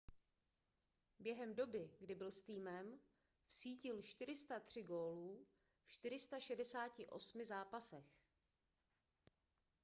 během doby kdy byl s týmem vsítil 403 gólů v 468 zápasech